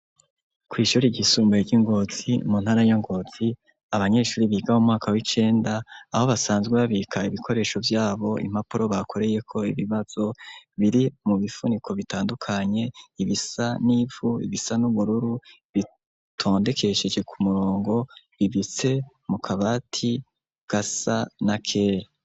Kw'ishuri ry'isumbuye ryi Ngozi muntara ya Ngozi abanyeshure biga mu mwaka wicenda aho basanzwe babika ibikoresho vyabo impapuro bakoreyeho birimwo biri mu bifuniko bitandukanye bisa nivu ,ibisazi nubururu bitondekesheje kumurongo bibitse kukabati gasa nakera.